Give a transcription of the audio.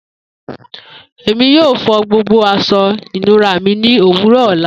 Emi yoo fo gbogbo aṣọ ìnura mi ni owurọ ọla.